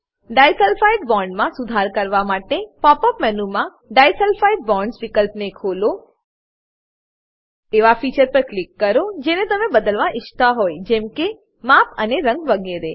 disulphide બોન્ડમા સુધારા કરવા માટે પોપ અપ મેનુમાં ડિસલ્ફાઇડ બોન્ડ્સ વિકલ્પને ખોલો એવા ફીચર પર ક્લિક કરો જેને તમે બદલવા ઇચ્છતા હોય જેમકે માપ અને રંગ વગેરે